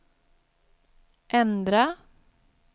ändra